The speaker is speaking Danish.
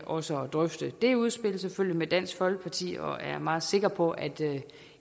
også at drøfte det udspil med dansk folkeparti og jeg er meget sikker på at